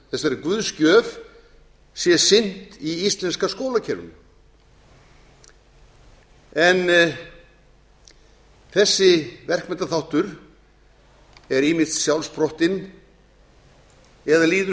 þessari guðsgjöf sé sinnt í íslenska skólakerfinu en þessi verkmenntaþáttur er ýmist sjálfsprottinn eða líður